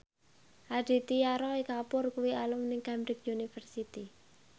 Aditya Roy Kapoor kuwi alumni Cambridge University